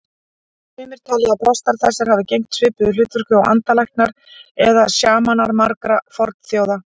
Sumir telja að prestar þessir hafi gegnt svipuðu hlutverki og andalæknar eða sjamanar margra fornþjóða.